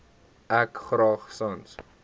ek graag sans